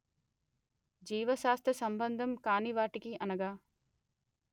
జీవశాస్త్ర సంబంధం కానివాటికిఅనగా